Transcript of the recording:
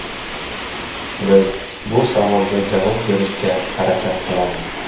Biz bu savolga javob berishga harakat qilamiz.